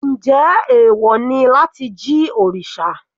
Njẹ́ ẹ̀wọ̀ ni láti jí òrìṣà?